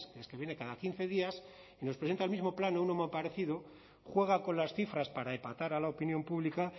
es que viene cada quince días y nos presenta el mismo plan o uno muy parecido juega con las cifras para epatar a la opinión pública